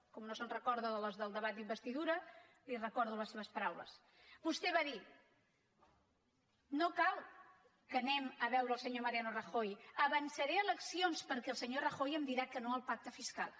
com que no se’n recorda de les del debat d’investidura li recordo les seves paraules vostè va dir no cal que anem a veure el senyor mariano rajoy avançaré eleccions perquè el senyor rajoy em dirà que no al pacte fiscal